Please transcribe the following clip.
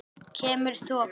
Kemur þoka.